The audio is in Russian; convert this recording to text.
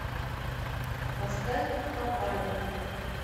поставь попали